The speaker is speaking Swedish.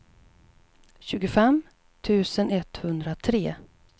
tjugofem tusen etthundratre